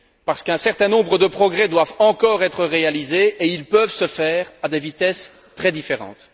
Car un certain nombre de progrès doivent encore être réalisés et ils peuvent se faire à des vitesses très différentes.